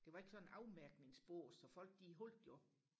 det var ikke sådan afmærkningsbås så folk de holdte jo